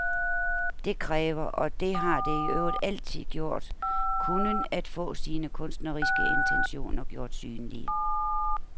Det kræver, og det har det i øvrigt altid gjort, kunnen, at få sine kunstneriske intentioner gjort synlige.